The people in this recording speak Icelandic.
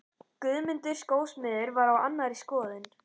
Guðmundur skósmiður var á annarri skoðun.